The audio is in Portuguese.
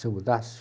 Se eu mudasse?